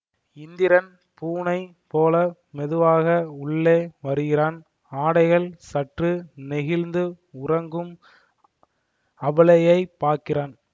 இந்திரன் பூனை போல மெதுவாக உள்ளே வருகிறான் ஆடைகள் சற்று நெகிழ்ந்து உறங்கும் அபலையைப் பார்க்கிறான்